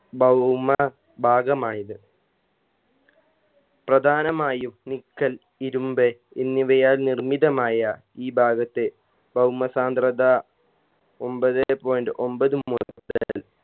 ഭൗമ ഭാഗമായത് പ്രധാനമായും നിക്കൽ ഇരുമ്പ് എന്നിവയാൽ നിർമ്മിതമായ ഈ ഭാഗത്ത് ഭൗമ സാന്ദ്രത ഒമ്പതേ point ഒമ്പത് മുതൽ